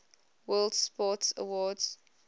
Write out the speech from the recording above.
world sports awards